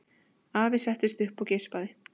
Afi settist upp og geispaði.